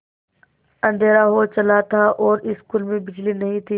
अँधेरा हो चला था और स्कूल में बिजली नहीं थी